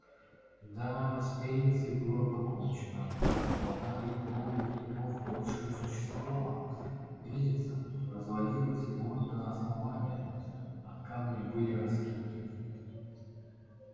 да с мельницей было покончено плода их долгих трудов больше не существовало мельница развалилась вплоть до основания а камни были раскиданы